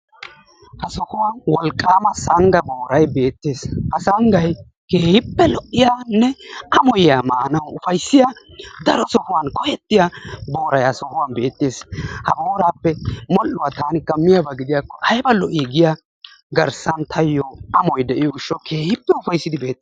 Ha sohuwaani wolqqama sangga booray beettes, ha songgay keehippe lo"iyaanne amoyiyaa maanawu upaysiyaa daro sohottuni koyettiya booray ha sohuwani beettes. Ha boorappe modhdhuwaa taakka miyaabba giddiyakko aybba lo"i giyaa garssan taayo amoy diyoo gishshawu keehippe ufayssidi beettes.